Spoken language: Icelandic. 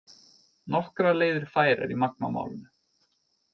Nokkrar leiðir færar í Magma málinu